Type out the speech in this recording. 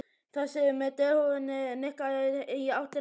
Þessi með derhúfuna nikkaði í áttina til mín.